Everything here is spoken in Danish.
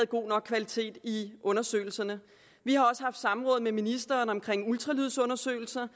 god nok kvalitet i undersøgelserne vi har også haft samråd med ministeren om ultralydsundersøgelser